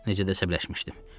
Necə də səbələşmişdim.